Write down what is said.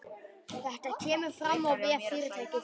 Þetta kemur fram á vef fyrirtækisins